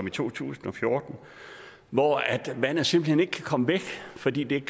i to tusind og fjorten hvor vandet simpelt hen komme væk fordi det ikke